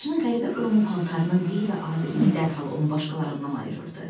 Saçının qəribə burumu, paltarının qeyri-adiliyi dərhal onu başqalarından ayırırdı.